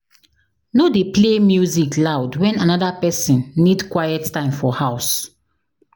No dey play music loud when another pesin need quiet time for house.